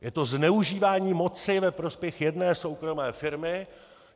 Je to zneužívání moci ve prospěch jedné soukromé firmy.